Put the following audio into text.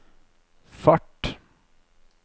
fart